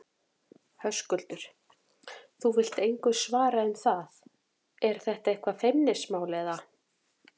Höskuldur: Þú vilt engu svara um það, er þetta eitthvað feimnismál, eða?